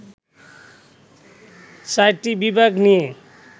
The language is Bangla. চারটি বিভাগ নিয়ে